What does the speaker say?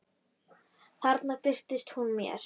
Þarna birtist hún mér.